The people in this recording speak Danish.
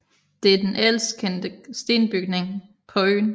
Det er den ældst kendte stenbygning på øen